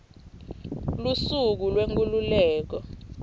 lusuku lwenkhululeko